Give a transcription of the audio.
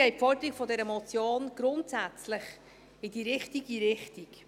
Deshalb geht die Forderung dieser Motion grundsätzlich in die richtige Richtung.